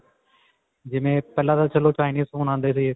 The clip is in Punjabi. ਜਿਵੇਂ ਪਹਿਲਾਂ ਤਾਂ ਚਲੋ Chinese phone ਆਂਦੇ ਰਹੇ.